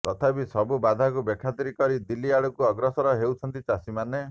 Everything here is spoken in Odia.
ତଥାପି ସବୁ ବାଧାକୁ ବେଖାତିର କରି ଦିଲ୍ଲୀ ଆଡ଼କୁ ଅଗ୍ରସର ହୋଇଛନ୍ତି ଚାଷୀମାନେ